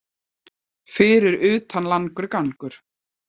Fyrir utan langur gangur.